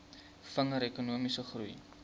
vinniger ekonomiese groei